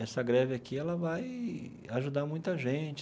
Essa greve aqui ela vai ajudar muita gente.